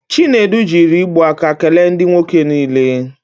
Chinedu jiri igbu aka kele ndị nwoke niile.